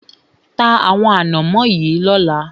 Ta àwọn ànámọ́ yìí lọ́la!